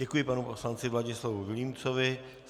Děkuji panu poslanci Vladislavu Vilímcovi.